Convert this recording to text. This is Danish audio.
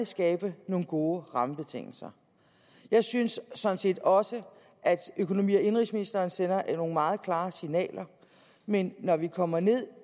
skabe nogle gode rammebetingelser jeg synes sådan set også at økonomi og indenrigsministeren sender nogle meget klare signaler men når vi kommer ned